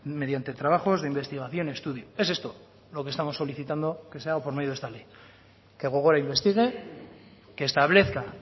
mediante trabajos de investigación y estudio es esto lo que estamos solicitando que se haga por medio de esta ley que gogora investigue que establezca